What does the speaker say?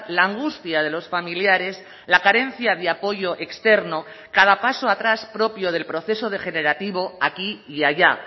la angustia de los familiares la carencia de apoyo externo cada paso atrás propio del proceso degenerativo aquí y allá